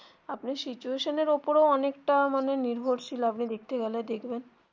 আপনি situation এর ওপরেও অনেকটা মানে নির্ভরশীল আপনি দেখতে গেলে দেখবেন